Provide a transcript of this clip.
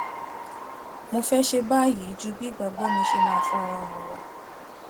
mo fé ṣe báyìí ju bí ìgbàgbó mi ṣe máa fara hàn lọ